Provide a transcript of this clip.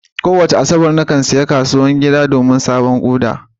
Kowace Asabar, nakan ziyarci kasuwar gida don siyan sabon Uda.